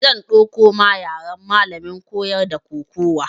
Zan ɗauko ma yaran malamin koyar da kokuwa